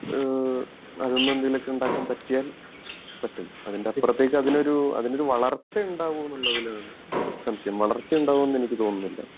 ഈഹ് അതിന്ന് എന്തെങ്കിലും ഒക്കെ ഉണ്ടാകാൻ പറ്റിയാൽ പറ്റും അതിൻ്റെ അപ്പുറത്തേക്ക് അതിനൊരു അതിനൊരു വളർച്ച ഉണ്ടാവോ എന്നുള്ളതിലാണ് സംശയം വളർച്ച ഉണ്ടാവോ എന്ന് എനിക്ക് തോനുന്നില്ല